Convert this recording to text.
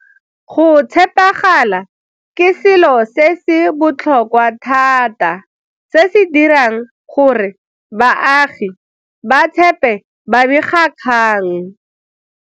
Go tshepagala ke selo se se botlhokwa thata se se dirang gore baagi ba tshepe babegakgang.